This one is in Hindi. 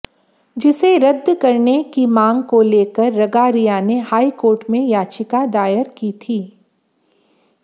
जिसे रद्द करने की मांग को लेकर रगारिया ने हाईकोर्ट में याचिका दायर की थी